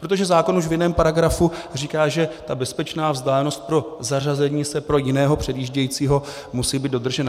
Protože zákon už v jiném paragrafu říká, že ta bezpečná vzdálenost pro zařazení se pro jiného předjíždějícího musí být dodržena.